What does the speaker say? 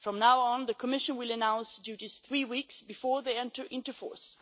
From now on, the Commission will announce duties three weeks before they enter into force.